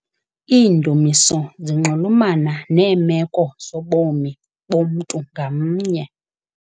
Iindumiso zinxulumana neemeko zobomi bomntu ngamnye.